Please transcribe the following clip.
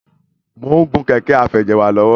Mo ń gùn Kẹ̀kẹ́ afẹjẹ̀wà lọ́wọ́.